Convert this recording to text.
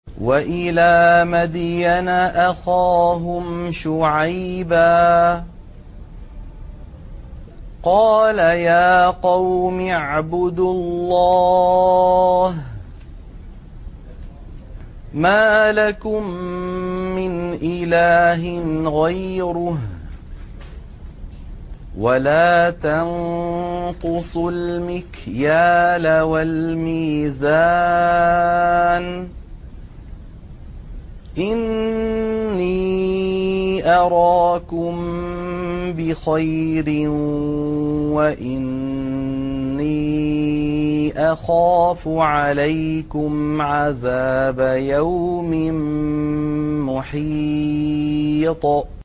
۞ وَإِلَىٰ مَدْيَنَ أَخَاهُمْ شُعَيْبًا ۚ قَالَ يَا قَوْمِ اعْبُدُوا اللَّهَ مَا لَكُم مِّنْ إِلَٰهٍ غَيْرُهُ ۖ وَلَا تَنقُصُوا الْمِكْيَالَ وَالْمِيزَانَ ۚ إِنِّي أَرَاكُم بِخَيْرٍ وَإِنِّي أَخَافُ عَلَيْكُمْ عَذَابَ يَوْمٍ مُّحِيطٍ